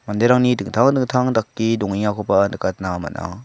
manderangni dingtang dingtang dake dongengakoba nikatna man·a.